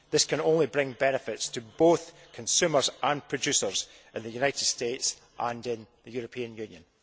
This can only bring benefits to both consumers and producers in the United States and in the European Union.